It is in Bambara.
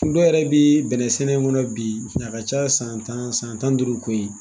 Dɔw yɛrɛ bi bɛnɛn sɛnɛ kɔnɔ bi a ka ca san tan, san tan ni duuru ko ye.